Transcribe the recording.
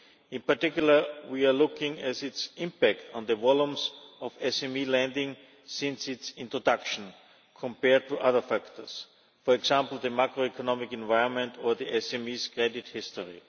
In particular, we are looking at its impact on the volumes of SME lending since its introduction, compared to other factors, for example, the macroeconomic environment or the SME's credit history.